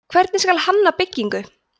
hvernig skal hanna byggingu